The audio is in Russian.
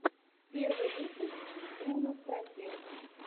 первый выпуск бруно стратег